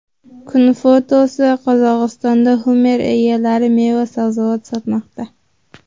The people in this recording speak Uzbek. Kun fotosi: Qozog‘istonda Hummer egalari meva-sabzavot sotmoqda.